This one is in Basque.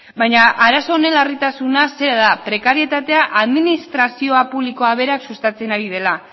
baina arazo honen larritasuna zera da prekarietatea administrazio publikoa berak sustatzen ari dela